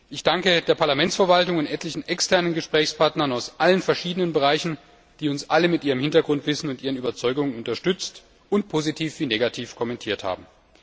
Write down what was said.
Ich danke der Parlamentsverwaltung und etlichen externen Gesprächspartnern aus allen verschiedenen Bereichen, die uns alle mit ihrem Hintergrundwissen und ihren Überzeugungen unterstützt und positiv wie negativ kommentiert haben.